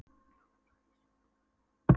Og það brakaði í snjóskorpu á leiðunum.